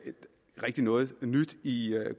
rigtig noget nyt i